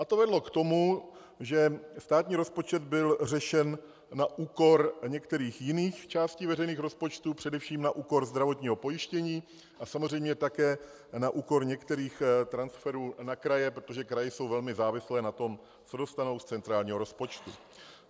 A to vedlo k tomu, že státní rozpočet byl řešen na úkor některých jiných částí veřejných rozpočtů, především na úkor zdravotního pojištění a samozřejmě také na úkor některých transferů na kraje, protože kraje jsou velmi závislé na tom, co dostanou z centrálního rozpočtu.